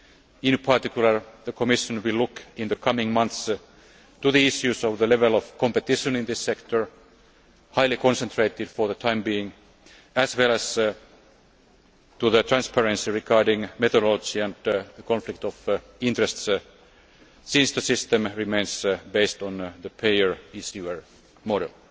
In particular, the Commission will look in the coming months at the issues of the level of competition in this sector highly concentrated for the time being as well as at the transparency regarding methodology and the conflict of interests, since the system remains based on the payer issuer model.